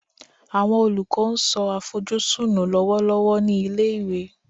Awọn olukọ n so afojusun nu lọwọlọwọ ni ile-iwe